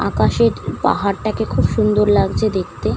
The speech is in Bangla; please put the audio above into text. আকাশের পাহাড় তা কে খুব সুন্দর লাগছে দেখতে।